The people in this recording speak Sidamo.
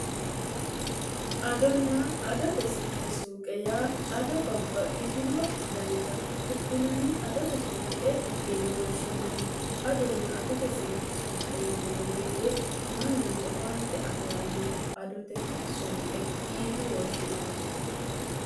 adonna adote sirchi suuqe yaa ado babbaxxitino danita hidhinanni adote suuqe yine woshshinanni adonna adote sirchi suuqe yineemmoweete mannu owaante afi'ranno adote suuqe yine woshshinanni